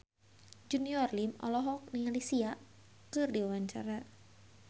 Junior Liem olohok ningali Sia keur diwawancara